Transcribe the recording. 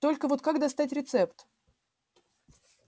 только вот как достать рецепт